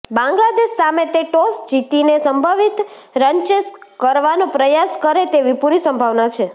બાંગ્લાદેશ સામે તે ટોસ જીતીને સંભવિત રનચેઝ કરવાનો પ્રયાસ કરે તેવી પૂરી સંભાવના છે